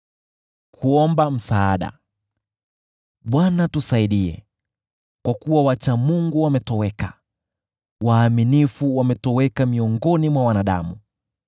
Bwana tusaidie, kwa kuwa wacha Mungu wametoweka; waaminifu wametoweka miongoni mwa wanadamu.